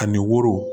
Ani woro